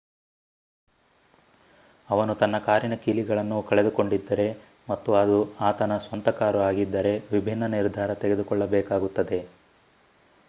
ಅವನು ತನ್ನ ಕಾರಿನ ಕೀಲಿಗಳನ್ನು ಕಳೆದುಕೊಂಡಿದ್ದರೆ ಮತ್ತು ಅದು ಆತನ ಸ್ವಂತ ಕಾರು ಆಗಿದ್ದರೆ ವಿಭಿನ್ನ ನಿರ್ಧಾರ ತೆಗೆದುಕೊಳ್ಳಬೇಕಾಗುತ್ತದೆ